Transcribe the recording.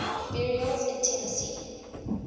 burials in tennessee